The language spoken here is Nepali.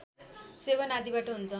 सेवन आदिबाट हुन्छ